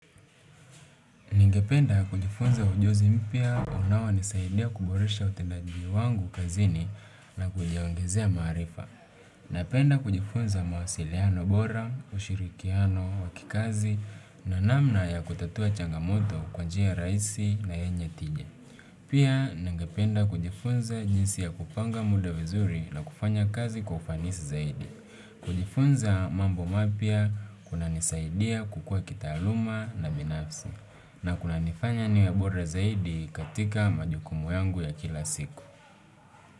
Ningependa kujifunza ujuzi mpya unaonisaidia kuboresha utendaji wangu kazini na kujiongezea maarifa. Napenda kujifunza mawasiliano bora, ushirikiano wa kikazi na namna ya kutatua changamoto kwa njia rahisi na yenye tija. Pia ningependa kujifunza jinsi ya kupanga muda vizuri na kufanya kazi kwa ufanisi zaidi. Kujifunza mambo mapya kunanisaidia kukua kitaaluma na binafsi. Na kunanifanya niwe bora zaidi katika majukumu yangu ya kila siku.